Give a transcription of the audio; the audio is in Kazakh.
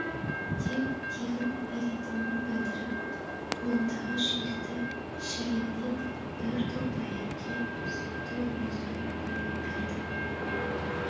деп тегін беретінін білдіріп қолындағы шүмекті шелегінен бір топ әйелге сүтті өзі құйып берді